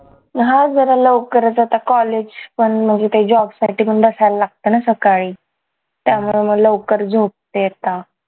हा जरा लवकरच आता college पण म्हणजे ते job साठीपण बसायला लागतं ना सकाळी त्यामुळे मग लवकर झोपते आता